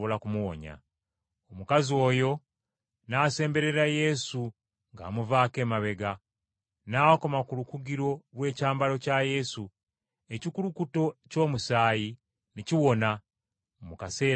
Omukazi ono n’asemberera Yesu ng’amuvaako emabega, n’akoma ku lukugiro lw’ekyambalo kya Yesu, ekikulukuto ky’omusaayi ne kiwona mu kaseera ako kennyini!